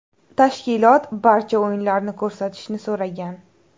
Tashkilot barcha o‘yinlarni ko‘rsatishni so‘ragan.